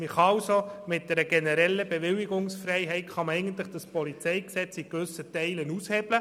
Man kann mit einer generellen Bewilligungsfreiheit das PolG in gewissen Teilen aushebeln.